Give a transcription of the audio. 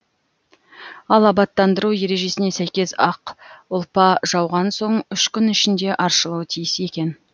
ал абаттандыру ережесіне сәйкес ақ ұлпа жауған соң үш күн ішінде аршылуы тиіс екен